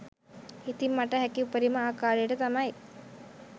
ඉතින් මට හැකි උපරිම ආකාරයට තමයි